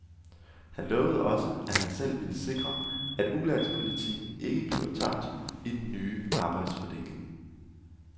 Han lovede også, at han selv vil sikre, at ulandspolitikken ikke bliver tabt i den nye arbejdsfordeling.